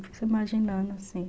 Fico imaginando assim.